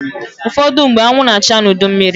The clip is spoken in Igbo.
Ụfọdụmgbe, anwụ na-acha n'udu mmịrị.